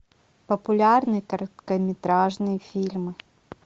популярные короткометражные фильмы